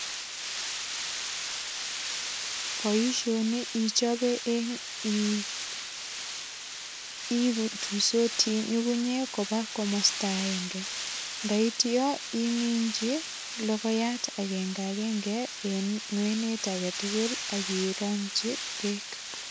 Boisioni ichobe eng ii ipu ituisoti nyungunyek koba komosta agenge. Ndaityo iminchi logoyat agengagenge en ngwenet agetugul ak irongchi beek.